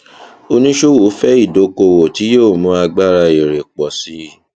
oníṣòwò fẹ ìdókòwò tí yóò mu agbára èrè pọ sí